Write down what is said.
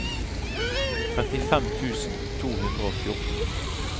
trettifem tusen to hundre og fjorten